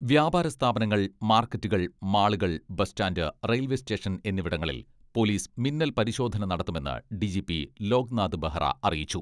വ്യാപാര സ്ഥാപനങ്ങൾ, മാർക്കറ്റുകൾ, മാളുകൾ, ബസ്റ്റാന്റ്, റെയിൽവെ സ്റ്റേഷൻ എന്നിവിടങ്ങളിൽ പോലീസ് മിന്നൽ പരിശോധന നടത്തുമെന്ന് ഡിജിപി ലോക്നാഥ് ബഹ്റ അറിയിച്ചു.